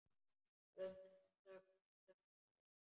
Um þetta söng ég: